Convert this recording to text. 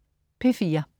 P4: